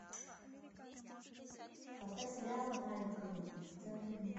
поставь сериал малкольм в центре внимания